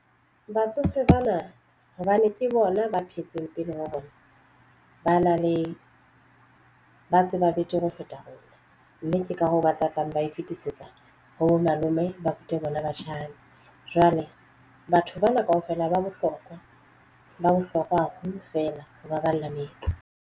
Batsofe bana hobane ke bona ba phetseng pele ba rona ba na le ba tseba betere ho feta rona mme ke ka hoo ba tla tlameile ba e fetisetsa ho bo malome ba rute bona batjhaki. Jwale batho bana kaofela ba bohlokwa ba bohlokwa haholo fela ho baballa meetlo.